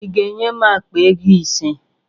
Ị ga-enye m akpa ego ise?